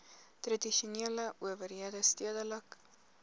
tradisionele owerhede stedelike